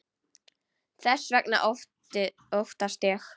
Þess vegna óttast ég.